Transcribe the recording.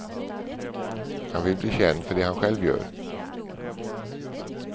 Han vill bli känd för det han själv gör.